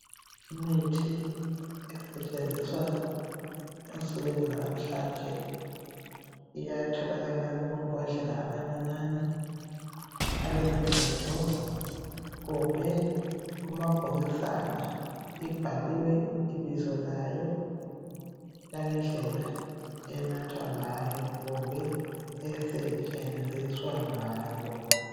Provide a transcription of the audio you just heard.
Imithi esetshenziswa ensukwini zalamhlanje, iyatholakala kumambodlela amancinyane alezivimbo kumbe kumabhokisana. Ibhaliwe ibizo layo langendlela enathwa ngayo kumbe esetshenziswa ngayo.